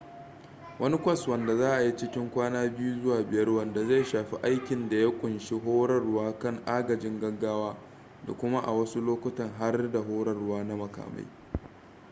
wani kwas wanda za a yi cikin kwana 2-5 wanda zai shafi aikin da ya kunshi horarwa kan agajin gaggawa da kuma a wasu lokutan har da horarwa na makamai